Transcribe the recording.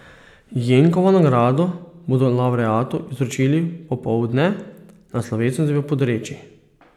Jenkovo nagrado bodo lavreatu izročili popoldne na slovesnosti v Podreči.